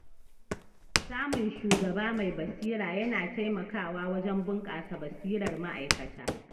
Samun shugaba mai basira yana taimakawa wajen bunƙasa basirar ma’aikata.